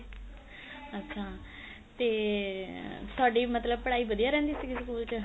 ਅੱਛਾ ਤੇ ਤੁਹਾਡੀ ਮਤਲਬ ਪੜਾਈ ਵਧੀਆ ਰਹਿੰਦੀ ਸੀਗੀ school ਚ